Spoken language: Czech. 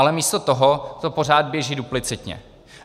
Ale místo toho to pořád běží duplicitně.